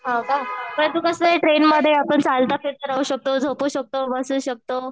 हो का परंतु कसं आहे ट्रेनमध्ये आपण चालता फिरता राहू शकतो झोपू शकतो बसू शकतो.